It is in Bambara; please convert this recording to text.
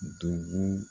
Dugu